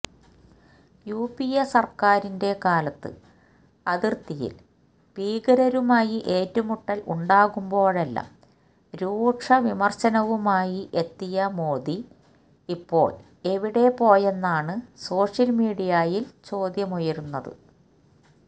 UPA സര്ക്കാരിന്റെ കാലത്ത് അതിര്ത്തിയില് ഭീകരരുമായി ഏറ്റുമുട്ടല് ഉണ്ടാകുമ്പോഴെല്ലാം രൂക്ഷവിമര്ശനവുമായി എത്തിയ മോഡി ഇപ്പോള് എവിടെപോയെന്നാണ് സോഷ്യല് മീഡിയയില് ചോദ്യമുയരുന്നത്